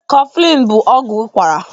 Kọflin bụ ọgwụ ụkwara